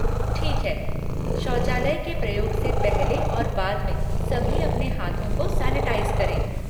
ठीक है, शौचालय के प्रयोग से पहले और बाद में सभी अपने हाथों को सैनिटाइज़ करें।